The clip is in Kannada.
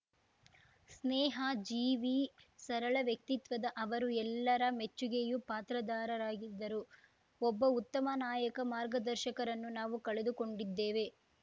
ಸ್ನೇಹ ಜೀವಿ ಸರಳ ವ್ಯಕ್ತಿತ್ವದ ಅವರು ಎಲ್ಲಾರ ಮೆಚ್ಚುಗೆಯೂ ಪಾತ್ರದಾರರಾಗಿದ್ದರು ಒಬ್ಬ ಉತ್ತಮ ನಾಯಕ ಮಾರ್ಗದರ್ಶಕರನ್ನು ನಾವು ಕಳೆದುಕೊಂಡಿದ್ದೇವೆ